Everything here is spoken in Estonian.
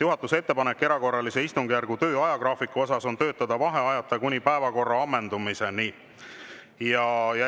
Juhatuse ettepanek erakorralise istungjärgu töö ajagraafiku kohta on töötada vaheajata kuni päevakorra ammendumiseni.